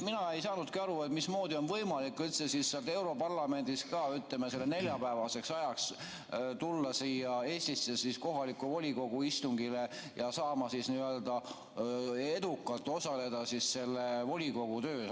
Mina ei saanudki aru, mismoodi on võimalik üldse europarlamendist ka selleks neljapäevaseks ajaks tulla siia Eestisse kohaliku volikogu istungile ja edukalt osaleda volikogu töös.